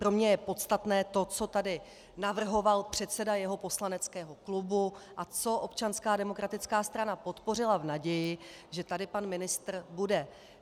Pro mě je podstatné to, co tady navrhoval předseda jeho poslaneckého klubu a co Občanská demokratická strana podpořila v naději, že tady pan ministr bude.